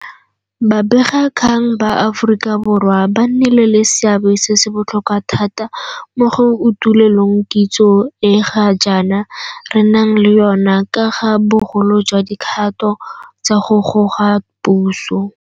Babegakgang ba Aforika Borwa ba nnile le seabe se se botlhokwa thata mo go utuloleng kitso e ga jaana re nang le yona ka ga bogolo jwa dikgato tsa go goga puso.